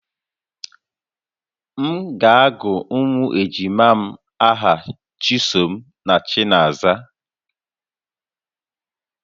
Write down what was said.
M ga-agụ ụmụ ejima m aha Chisom na Chinaza